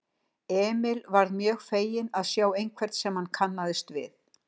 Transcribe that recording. Emil varð mjög feginn að sjá einhvern sem hann kannaðist við.